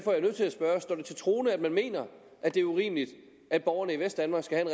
til troende at man mener at det er urimeligt at borgerne i vestdanmark skal have